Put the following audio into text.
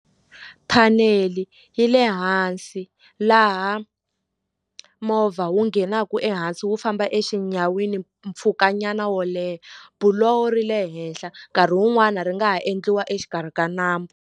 Thanele yi le hansi laha movha wu nghenaka ehansi wu famba exinyamini mpfhukanyana wo leha buloho ri le henhla nkarhi wun'wani ri nga ha endliwa exikarhi ka nambu.